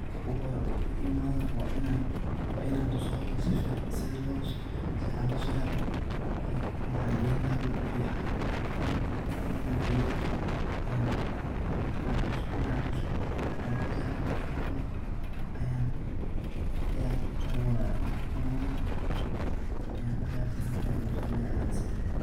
Marki hore o imadho wa inan tuso horta safican, maxan geyni laha dul fican, dulka fican markan geyo ayan marki an tuso, dulka waqodhaya, markan qodha ayan abuuraya ,markan abuuro ayan dahaya san aya lasomeya.